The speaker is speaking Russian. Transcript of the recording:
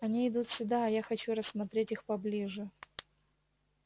они идут сюда а я хочу рассмотреть их поближе